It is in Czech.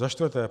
Za čtvrté.